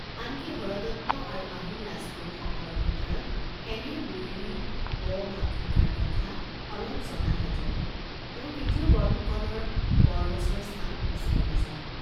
আন কি, হৰদত্ত আৰু আহোম ৰাজপুৰুষ সকলৰ ভিতৰত এনে বৈৰী ব ভাব থকাৰ কথা অলপ জনাহেঁতেনো তেওঁ কেতিয়াও বৰফুকনৰ বৰ গছৰ ছাঁ বিচাৰি নেয়ায়।